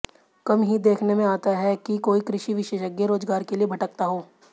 कम ही देखने में आता है कि कोई कृषि विशेषज्ञ रोजगार के लिए भटकता हो